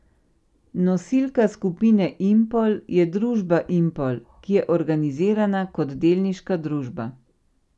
Nosilka skupine Impol je družba Impol, ki je organizirana kot delniška družba.